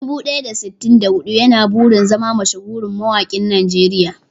Dubu ɗaya da sittin da huɗu yana burin zama mashahurin mawaƙin Najeriya.